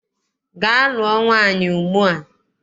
Gaa lụọ nwaanyị ugbua!